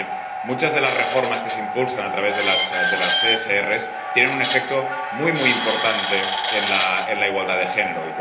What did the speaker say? Porque, miren, muchas de las reformas que se impulsan a través de las REP tienen un efecto muy, muy importante en la igualdad de género.